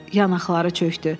Yanaqları çökdü.